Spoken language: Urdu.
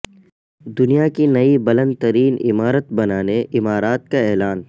دنیا کی نئی بلند ترین عمارت بنانے امارات کا اعلان